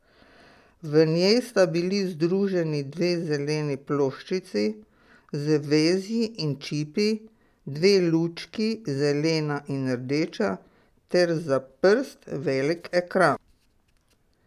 V njej sta bili združeni dve zeleni ploščici z vezji in čipi, dve lučki, zelena in rdeča, ter za prst velik ekran.